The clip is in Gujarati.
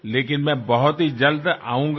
પરંતુ હું બહુ જલદી આવીશ